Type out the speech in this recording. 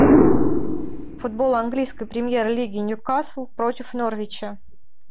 футбол английской премьер лиги ньюкасл против норвича